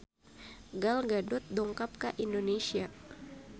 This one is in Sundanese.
Gal Gadot dongkap ka Indonesia